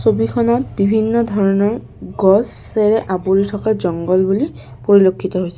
ছবিখনত বিভিন্ন ধৰণৰ গছেৰে আৱৰি থকা জংগল বুলি পৰিলক্ষিত হৈছে।